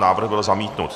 Návrh byl zamítnut.